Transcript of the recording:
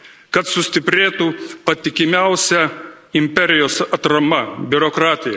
kad sustiprėtų patikimiausia imperijos atrama, biurokratija.